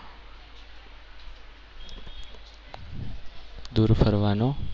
દૂર ફરવાનો